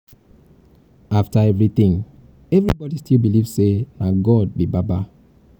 after everything everybody everybody still believe say na god be baba.